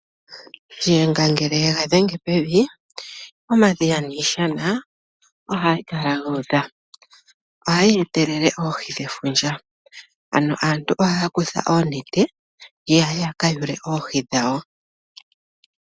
Shiyenga ngele yega dhenge pevi, omadhiya niishana ohayi kala yuudha. Ohayi etelele Oohi dhefundja, ano aantu ohaya kutha oonete yeye yaka yuule Oohi dhawo.